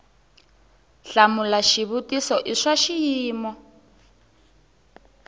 hlamula xivutiso i swa xiyimo